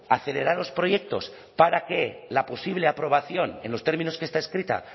acelerar los proyectos para que la posible aprobación en los términos que está escrita